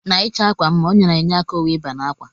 Na ichọ akwa mma ọnya na enye aka owu iba n'akwa.